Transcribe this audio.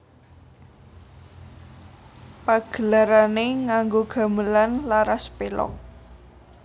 Pagelarané nganggo gamelan laras pelog